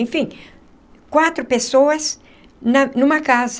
Enfim, quatro pessoas na numa casa.